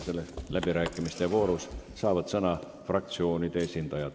Selles voorus saavad sõna fraktsioonide esindajad.